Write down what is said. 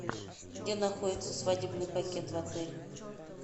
где находится свадебный пакет в отеле